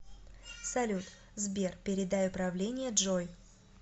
салют сбер передай управление джой